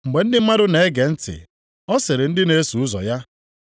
Mgbe ndị mmadụ na-ege ntị, ọ sịrị ndị na-eso ụzọ ya,